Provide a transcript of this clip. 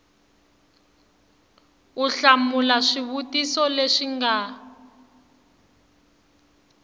u hlamula swivutiso leswi nga